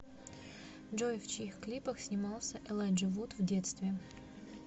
джой в чьих клипах снимался элайджа вуд в детстве